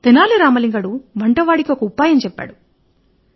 తెనాలి రామలింగడు వంటవాడికి ఒక ఉపాయం చెప్పాడు